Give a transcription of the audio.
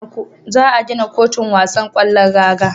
Za a gina kotun wasan kwallon raga